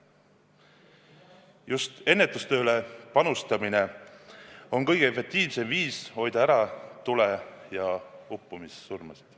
Just ennetustööle panustamine on kõige efektiivsem viis hoida ära tule- ja uppumissurmasid.